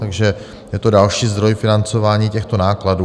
Takže je to další zdroj financování těchto nákladů.